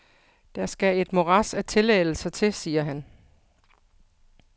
Der skal et morads af tilladelser til, siger han.